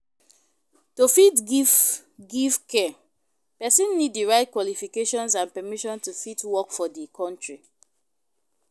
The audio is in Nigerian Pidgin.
To fit give give care, persin need di right qualifications and permisson to fit work for di country